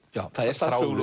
já það er